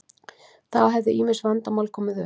Þá hefðu ýmis vandamál komið upp